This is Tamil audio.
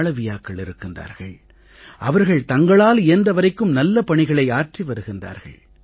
மாளவீயாக்கள் இருக்கின்றார்கள் அவர்கள் தங்களால் இயன்ற வரைக்கும் நல்ல பணிகளை ஆற்றி வருகின்றார்கள்